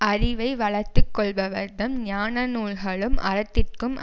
அறிவை வளர்த்து கொள்பவர் தம் ஞான நூல்களுக்கும் அறத்திற்கும்